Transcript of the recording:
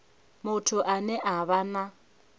muthu ane a vha na